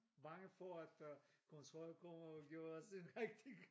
Bange for at der kontrol kommer og gjorde os en rigtig